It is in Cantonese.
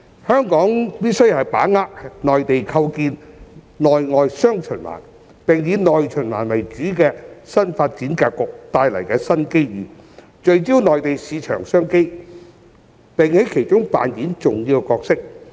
香港必須把握內地構建內外"雙循環"，並以"內循環"為主的新發展格局帶來的新機遇，聚焦內地市場商機，並在其中扮演重要的角色。